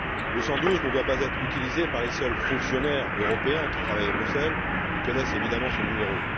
Le 112 ne doit pas être utilisé par les seuls fonctionnaires européens qui travaillent à Bruxelles et qui connaissent évidemment ce numéro.